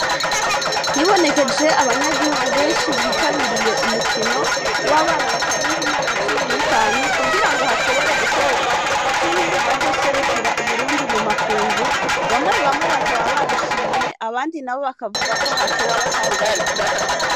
Hibonekeje abanyagihugu benshi bitabiriye umukino w'abana batarenza imyaka cumi n'itanu, kugira ngo hashobore gutorwa cumi bazoserukira Uburundi mu makungu, bamwe bamwe bakaba babishimye, abandi na bo bakavuga ko hatowe abatari babikwiye.